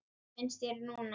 Hvað finnst þér núna?